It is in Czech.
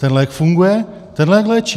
Ten lék funguje, ten lék léčí.